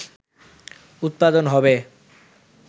উৎপাদন হবে